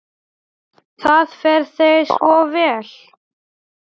Það fer þér svo vel.